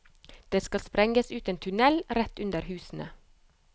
Det skal sprenges ut en tunnel rett under husene.